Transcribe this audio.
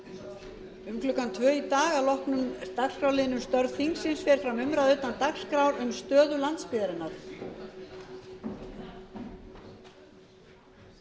um klukkan tvö í dag að loknum dagskrárliðnum störf þingsins fer fram umræða utan dagskrár um stöðu landsbyggðarinnar málshefjandi